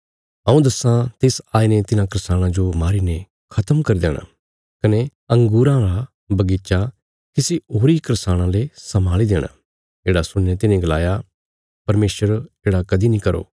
हऊँ दस्सां तिस आईने तिन्हां करसाणां जो मारीने खत्म करी देणा कने अंगूरां रा बगीचा किसी होरी करसाणां ले सम्भाल़ी देणा येढ़ा सुणीने तिन्हे गलाया परमेशर येढ़ा कदीं नीं करो